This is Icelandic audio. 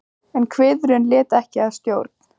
En kviðurinn lét ekki að stjórn.